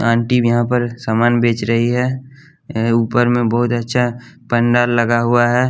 Aunty भी यहाँ पर सामान बेच रही है ऊपर में बहुत अच्छा पंडाल लगा हुआ है।